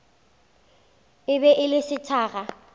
e be e le sethakga